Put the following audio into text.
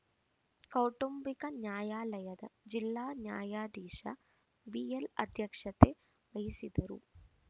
ಕೌಟುಂಬಿಕ ನ್ಯಾಯಾಲಯದ ಜಿಲ್ಲಾ ನ್ಯಾಯಾಧೀಶ ಬಿಎಲ್‌ ಅಧ್ಯಕ್ಷತೆ ವಹಿಸಿದ್ದರು